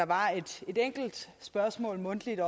var et enkelt spørgsmål mundtligt